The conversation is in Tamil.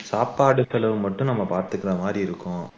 சாப்பாடு செலவு மட்டும் நாம பார்த்துக்கிற மாதிரி இருக்கும்